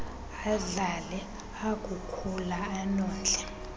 adlale akukhula anondle